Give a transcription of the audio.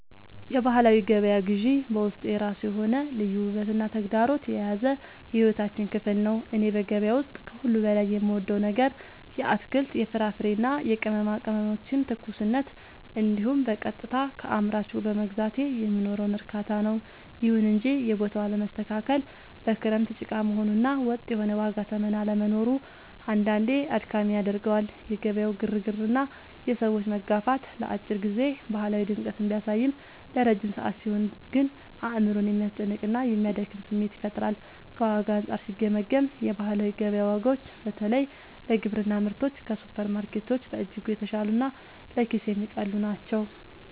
የባህላዊ ገበያ ግዢ በውስጡ የራሱ የሆነ ልዩ ውበትና ተግዳሮት የያዘ የሕይወታችን ክፍል ነው። እኔ በገበያ ውስጥ ከሁሉ በላይ የምወደው ነገር የአትክልት፣ የፍራፍሬና የቅመማ ቅመሞችን ትኩስነት እንዲሁም በቀጥታ ከአምራቹ በመግዛቴ የሚኖረውን እርካታ ነው። ይሁን እንጂ የቦታው አለመስተካከል፣ በክረምት ጭቃ መሆኑ እና ወጥ የሆነ የዋጋ ተመን አለመኖሩ አንዳንዴ አድካሚ ያደርገዋል። የገበያው ግርግርና የሰዎች መጋፋት ለአጭር ጊዜ ባህላዊ ድምቀትን ቢያሳይም፣ ለረጅም ሰዓት ሲሆን ግን አእምሮን የሚያስጨንቅና የሚያደክም ስሜት ይፈጥራል። ከዋጋ አንጻር ሲገመገም፣ የባህላዊ ገበያ ዋጋዎች በተለይ ለግብርና ምርቶች ከሱፐርማርኬቶች በእጅጉ የተሻሉና ለኪስ የሚቀልሉ ናቸው።